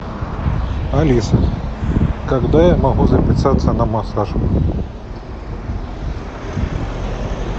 алиса когда я могу записаться на массаж